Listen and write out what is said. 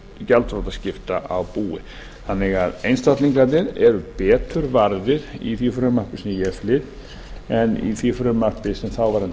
gjaldþrotaskipta á búi þannig að einstaklingarnir eru betur varðir í því frumvarpi sem ég flyt en í því frumvarpi sem þáverandi